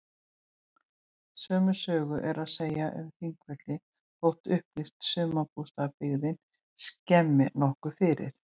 Sömu sögu er að segja um Þingvelli þótt upplýst sumarbústaðabyggðin skemmi nokkuð fyrir.